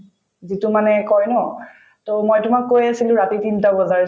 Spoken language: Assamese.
যিটো মানে কই ন to মই তোমাক কৈয়ে আছিলো ৰাতি তিনটা বজাৰ